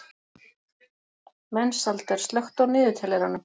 Mensalder, slökktu á niðurteljaranum.